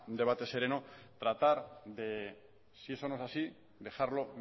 debate sereno tratar de si eso no es así dejarlo